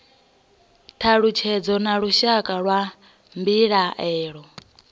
thalutshedzo na lushaka lwa mbilaelo